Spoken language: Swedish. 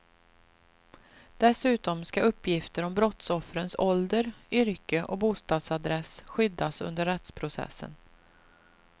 Dessutom ska uppgifter om brottsoffrens ålder, yrke och bostadsadress skyddas under rättsprocessen.